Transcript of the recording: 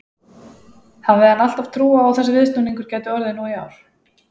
Hafði hann alltaf trú á að þessi viðsnúningur gæti orðið nú í ár?